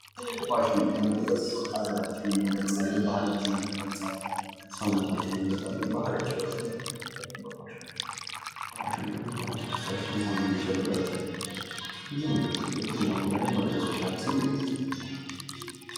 ባህላዊ አልባሳት የፋሽናችን ዋና መገለጫ ናቸው: እንደ ሀገር ለዘመናት የቆዩ የተለያዩ ባህላዊ አልባሳት አሉን። እነዚህ አልባሳት እንደ ክልላቸውና እንደ ብሄራቸው የሚለያዩ ልዩ ቀለሞች፣ ጥልፍ ስራዎችና ዲዛይኖች ያሏቸው ሲሆን በዘመናዊ ፋሽን ላይም ተፅዕኖ እየፈጠሩ ነው። ለምሳሌ የሀበሻ ቀሚስ በልዩ ውበቱና በስርዓተ ጥልፉ በዓለም አቀፍ ደረጃ ሳይቀር እውቅናን እያገኘ ነው።